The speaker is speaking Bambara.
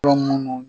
Yɔrɔ minnu